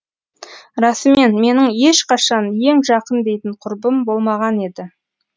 расымен менің ешқашан ең жақын дейтін құрбым болмаған еді